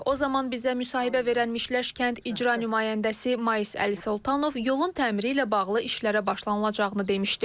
O zaman bizə müsahibə verən Mişləş kənd icra nümayəndəsi Mayis Əlisoltanov yolun təmiri ilə bağlı işlərə başlanılacağını demişdi.